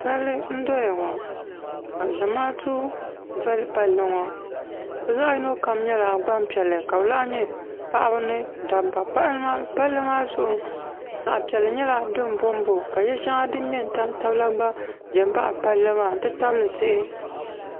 Palli n doya ŋɔ ka zamaatu soli palli ŋɔ bi zaɣi yino kam nyɛla gbaŋ piɛlli ka bi lahi nyɛ paɣaba ni dabba palli maa zuɣu zaɣi piɛlli nyɛla dini bo n bo ka yiɛ shɛŋa dini mŋɛ n tam tabila gba zɛ nbaɣi palli maa n ti tabili tihi.